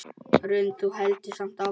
Hrund: Þú heldur samt áfram?